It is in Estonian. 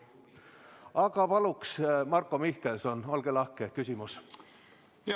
Aga palun, Marko Mihkelson, olge lahke, küsimus!